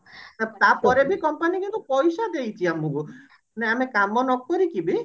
ତାପରେ ବି company ଆମକୁ ପଇସା ଦେଇଛି କିନ୍ତୁ ମାନେ ଆମେ କାମ ନକରିକି ବି